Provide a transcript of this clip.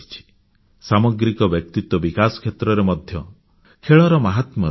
ସାମଗ୍ରିକ ବ୍ୟକ୍ତିତ୍ୱ ବିକାଶ କ୍ଷେତ୍ରରେ ମଧ୍ୟ ଖେଳର ମାହାତ୍ମ୍ୟ ରହିଛି